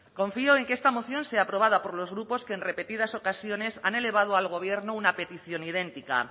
confío en que esta moción sea aprobada por los grupos que en repetidas ocasiones han elevado al gobierno una petición idéntica